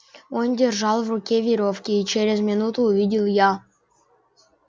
он держал в руке верёвки и через минуту увидел я